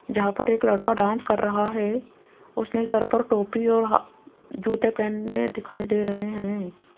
जहां पर एक लड़का डांस कर रहा है उसने सर पर टोपी और जूते पहने दिखाई दे रहे हैं।